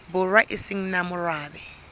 borwa e se nang morabe